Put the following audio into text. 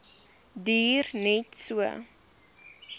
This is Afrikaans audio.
duur net so